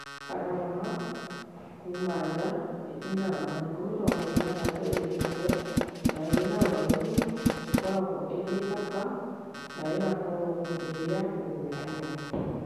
Palomar; - kuuma nja, ĩtindaga matukũ mĩrongo ĩtandatũ ĩgĩkũre na ĩrĩ na ũraihu, ĩkoragwo ĩrĩ thaka na ĩgakorũo ĩrĩ ya kũgũrũ kũmwe.